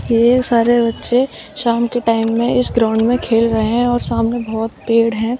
ये सारे बच्चे शाम के टाइम में इस ग्राउंड में खेल रहे हैं और सामने बहोत पेड़ है।